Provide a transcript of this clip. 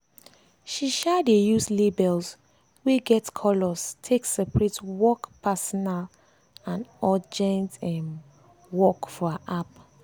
she um dey use labels wey get colors take separate work personal and urgent um work for her app.